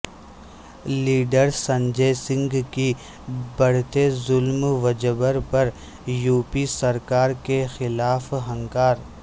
لیڈرسنجے سنگھ کی بڑھتے ظلم وجبر پر یوپی سرکار کیخلاف ہنکار